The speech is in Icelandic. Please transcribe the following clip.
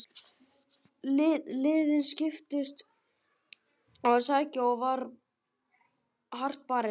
Liðin skiptust á að sækja og var hart barist.